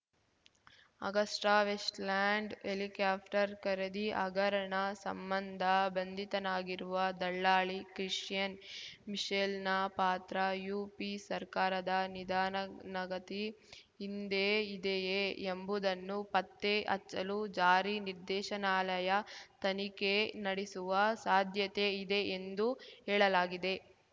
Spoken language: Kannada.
ಅಗಸ್ಟಾವೆಸ್ಟ್‌ಲ್ಯಾಂಡ್‌ ಹೆಲಿಕಾಪ್ಟರ್‌ ಖರೀದಿ ಹಗರಣ ಸಂಬಂಧ ಬಂಧಿತನಾಗಿರುವ ದಲ್ಲಾಳಿ ಕ್ರಿಸ್ಟಿಯನ್‌ ಮಿಶೆಲ್‌ನ ಪಾತ್ರ ಯುಪಿ ಸರ್ಕಾರದ ನಿಧಾನನಗತಿ ಹಿಂದೆ ಇದೆಯೇ ಎಂಬುದನ್ನು ಪತ್ತೆ ಹಚ್ಚಲು ಜಾರಿ ನಿರ್ದೇಶನಾಲಯ ತನಿಖೆ ನಡೆಸುವ ಸಾಧ್ಯತೆ ಇದೆ ಎಂದು ಹೇಳಲಾಗಿದೆ